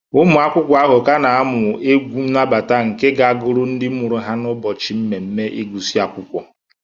Ụmụ akwụkwọ ahụ ka na-amụ egwu nnabata nke ga-agụrụ ndị mụrụ ha n'ụbọchị mmemme ịgụsị akwụkwọ